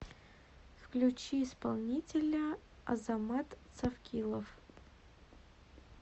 включи исполнителя азамат цавкилов